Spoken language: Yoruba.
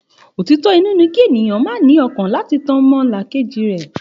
Òtítọ inú ní kí ènìyàn má ní ọkàn láti tan ọmọnìkejì jẹ